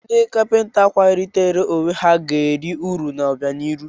Ndị kapịnta kwalitere onwe ha ga eri uru n'obianihu.